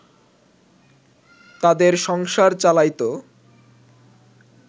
তাদের সংসার চালাইত